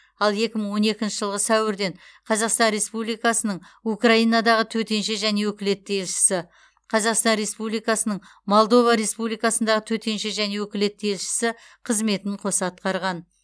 ал екі мың он екінші жылғы сәуірден қазақстан республикасының украинадағы төтенше және өкілетті елшісі қазақстан республикасының молдова республикасындағы төтенше және өкілетті елшісі қызметін қоса атқарған